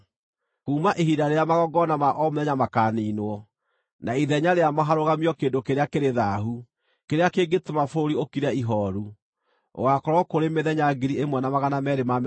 “Kuuma ihinda rĩrĩa magongona ma o mũthenya makaniinwo, na ithenya rĩamo harũgamio kĩndũ kĩrĩa kĩrĩ thaahu, kĩrĩa kĩngĩtũma bũrũri ũkire ihooru, gũgaakorwo kũrĩ mĩthenya 1,290.